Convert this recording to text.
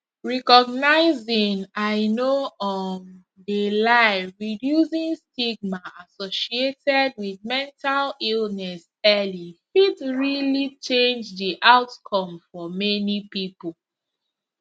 recognizing i no um de lie reducing stigma associated wit mental illness early fit realli change di outcome for many pipo